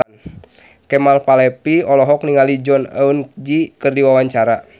Kemal Palevi olohok ningali Jong Eun Ji keur diwawancara